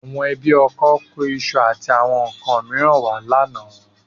Àwọn ẹbí ọkọ kó iṣu àti àwọn nǹkan mìíràn wá lánàá